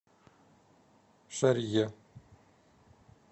шарье